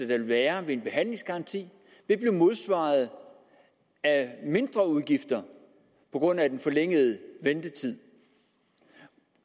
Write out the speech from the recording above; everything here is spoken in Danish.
vil være ved en behandlingsgaranti vil blive modsvaret af mindreudgifter på grund af den forlængede ventetid